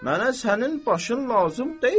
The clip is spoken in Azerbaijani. mənə sənin başın lazım deyil.